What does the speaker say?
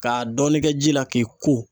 K'a dɔɔni kɛ ji la k'i ko.